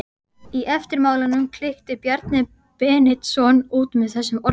Í eftirmálanum klykkti Bjarni Beinteinsson út með þessum orðum